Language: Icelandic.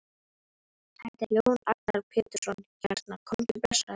Þetta er Jón Agnar Pétursson hérna, komdu blessaður.